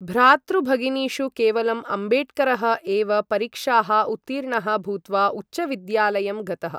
भ्रातृभगिनीषु केवलं अम्बेडकरः एव परीक्षाः उत्तीर्णः भूत्वा उच्चविद्यालयं गतः।